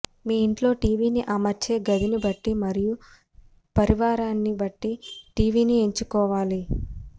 మీ ఇంట్లో టీవీ ని అమర్చే గదిని బట్టి మరియు పరివారాన్ని బట్టి టీవీని ఎంచుకోవాలి